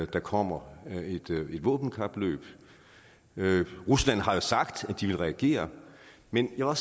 der kommer et våbenkapløb rusland har jo sagt at de vil reagere men jeg må